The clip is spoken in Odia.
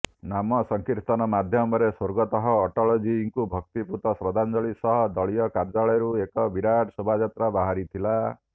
ନାମ ସଂକୀର୍ତନ ମାଧ୍ୟମରେ ସ୍ୱର୍ଗତଃ ଅଟଳଜୀଙ୍କୁ ଭକ୍ତିପୂତ ଶଦ୍ଧାଞ୍ଜଳି ସହ ଦଳୀୟ କାର୍ଯ୍ୟାଳୟରୁ ଏକ ବିଶାଳ ଶୋଭାଯାତ୍ରା ବାହାରିଥିଲା